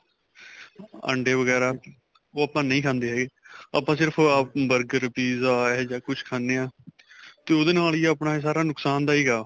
ਅੰਡੇ ਵਗੈਰਾ ਉਹ ਆਪਾਂ ਨਹੀਂ ਖਾਂਦੇ ਹੈਗੇ ਆਪਾਂ ਸਿਰਫ਼ burger pizza ਏ ਜਾਂ ਕੁੱਛ ਖਾਣੇ ਹਾਂ ਤੇ ਉਹਦੇ ਨਾਲ ਹੀ ਆਪਣਾ ਇਹ ਸਾਰਾ ਨੁਕਸਾਨ ਦਾਇਕ ਆ